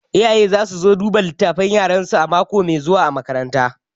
Iyaye za su zo duba littafan yaransu mako mai zuwa a makaranta